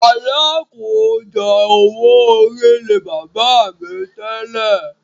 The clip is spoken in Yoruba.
“Alákòójọ owó orí” ni bàbá mi tẹ́lẹ̀.